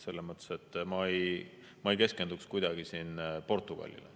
Selles mõttes ma ei keskenduks kuidagi siin Portugalile.